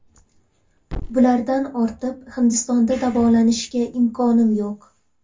Bulardan ortib Hindistonda davolanishga imkonim yo‘q.